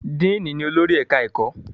Diini ní olórí ẹka ẹkọ.